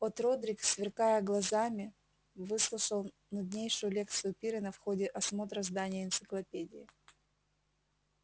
от родрик сверкая глазами выслушивал нуднейшую лекцию пиренна в ходе осмотра здания энциклопедии